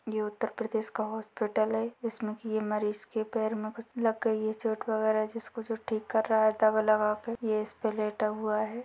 ये उत्तर प्रदेश का हॉस्पिटल है इसमें की ये मरीज के पैर में कुछ लग गई है चोट वगेरा जिसको जो ठीक कर रहा है दवा लगा कर ये इस पर लेटा हुआ है।